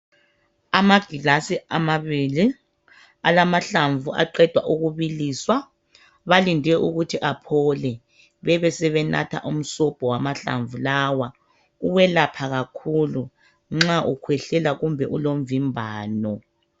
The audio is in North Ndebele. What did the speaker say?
Amagilasi amabili amalamahlamvu aqedwa ukubiliswa balinde ukuthi aphole besebenatha umsobho wamahlamvu lawa ukwelapha kakhulu nxa ukhwehlela kumbe ulomvimbano.